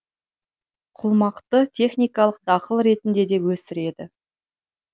құлмақты техникалық дақыл ретінде де өсіреді